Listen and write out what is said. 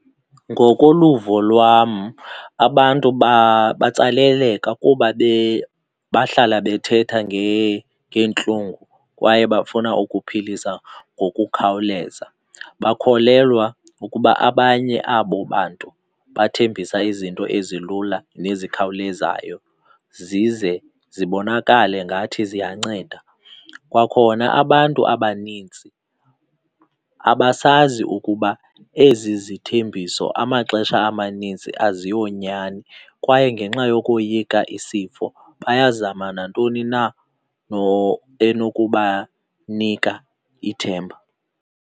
Ngokoluvo lwam, abantu batsaleleka kuba bahlala bethetha ngeentlungu kwaye bafuna ukuphilisa ngokukhawuleza, bakholelwa ukuba abanye abo bantu bathembisa izinto ezilula nezikhawulezayo zize zibonakale ngathi ziyanceda. Kwakhona abantu abanintsi abasazi ukuba ezi zithembiso amaxesha amanintsi aziyonyani kwaye ngenxa yokoyika isifo bayazama nantoni na enokubanika ithemba.